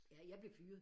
Ja jeg blev fyret